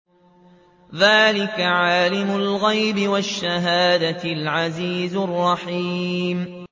ذَٰلِكَ عَالِمُ الْغَيْبِ وَالشَّهَادَةِ الْعَزِيزُ الرَّحِيمُ